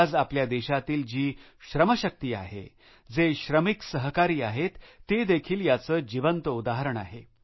आज आपल्या देशातील जी श्रमशक्ती आहे जे श्रमिक सहकारी आहेत ते देखील याचे जिवंत उदाहरण आहे